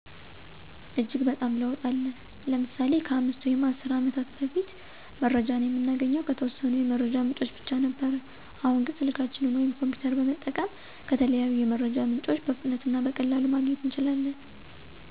እጅግ በጣም ለውጥ አለ። ለምሳሌ:-ከ 5 ወይም 10 አመታት በፊት መረጃን የምናገኘው ከተወሰኑ የመረጃ ምንጮች ብቻ ነበር አሁን ግን ስልካችንን ወይም ኮሚፒተር በመጠቀም ከተለያዩ የመረጃ ምንጮች በፍጥነት እና በቀላሉ ማግኘት እንችላለን።